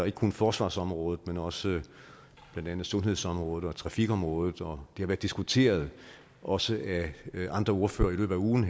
ikke kun forsvarsområdet men også blandt andet sundhedsområdet og trafikområdet og det har været diskuteret også af andre ordførere i løbet af ugen